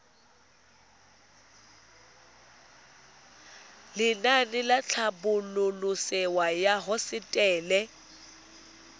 lenaane la tlhabololosewa ya hosetele